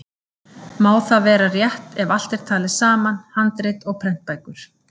Má það vera rétt ef allt er talið saman, handrit og prentbækur.